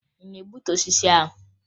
Ị na-egbutu osisi ahụ?